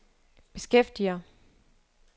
beskæftiger